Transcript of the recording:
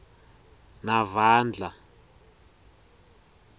navandla